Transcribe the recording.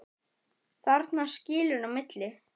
Þarna skilur á milli.